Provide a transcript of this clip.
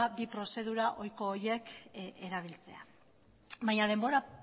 bi prozedura ohiko horiek erabiltzea baina denbora